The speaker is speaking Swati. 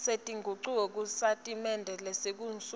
setingucuko kusitatimende sekusungula